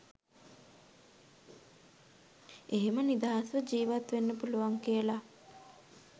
එහෙම නිදහස්ව ජීවත් වෙන්න පුළුවන් කියලා